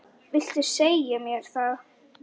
Viltu segja mér það?